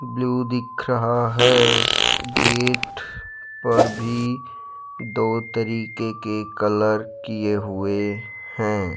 Blue दिख रहा है गेट पर भी दो तरीके के कलर किए हुए हैं।